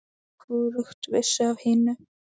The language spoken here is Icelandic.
Hvorugt vissi af hinu.